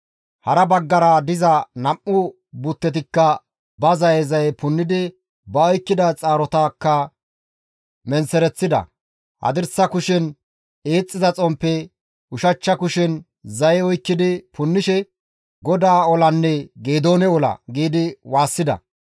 Hara baggara diza nam7u buttetikka ba zaye zaye punnidi ba oykkida xaarotakka menththereththida; hadirsa kushen eexxiza xomppe, ushachcha kushen zaye oykkidi punnishe, «GODAA olanne Geedoone ola!» giidi waassida.